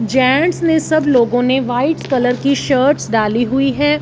Gents ने सब लोगों ने व्हाइट कलर की शर्ट्स डाली हुई है।